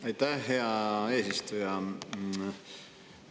Aitäh, hea eesistuja!